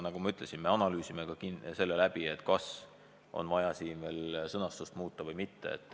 Nagu ma ütlesin, me analüüsime läbi, kas on vaja veel sõnastust muuta või mitte.